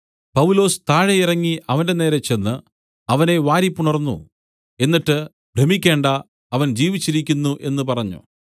പൗലൊസ് താഴെ ഇറങ്ങി അവന്റെനേരെ ചെന്ന് അവനെ വാരിപുണർന്നു എന്നിട്ട് ഭ്രമിക്കണ്ട അവൻ ജീവിച്ചിരിക്കുന്നു എന്നു പറഞ്ഞു